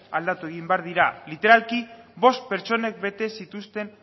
aldatu egin behar dira literalki bost pertsonek bete zituzten